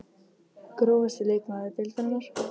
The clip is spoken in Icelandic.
Grófasti leikmaður deildarinnar?